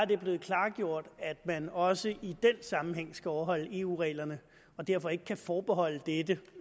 det blevet klargjort at man også i den sammenhæng skal overholde eu reglerne og derfor ikke kan forbeholde dette